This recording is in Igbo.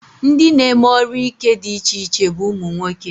Ndị na-eme ọrụ ike dị iche iche bụ ụmụnwoke